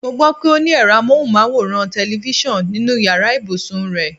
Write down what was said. Mo gbó̩ pé o ní è̩ro̩ amóhùnmáwòrán/te̩lifís̩àn nínu yàrá ìbùsùn rè̩.